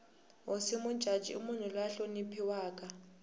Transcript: hosi mujaji i munhu la hloniphiwaka